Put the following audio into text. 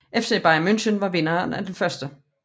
FC Bayern München var vinderen af 1